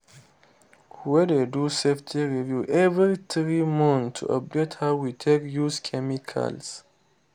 we dey do safety review every three months to update how we take use chemicals.